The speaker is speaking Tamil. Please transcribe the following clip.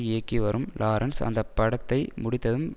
இயக்கி வரும் லாரன்ஸ் அந்த படத்தை முடித்ததும்